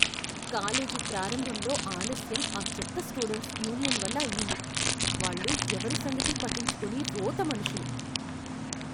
College ప్రారంభంలో ఆలస్యం ఆ చెత్త స్టూడెంట్స్ యూనియన్ వల్ల అయింది, వాళ్ళు ఎవరి సంగతి పట్టించుకోని రోత మనుషులు.